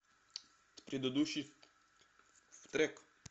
предыдущий трек